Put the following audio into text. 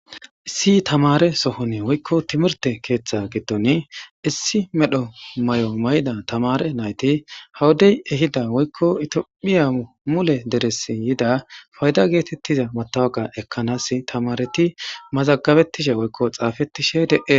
Issi tamare sohone woykko timirte keeththe giddon issi medho mayo mayida tamaare nayti ha wodey ehida woykko itiophiya mule deressi yida fayda geetettiza matawqa ekkanasi tamaaareti mazagabettishe woykko xaafettishe de7e.